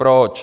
Proč?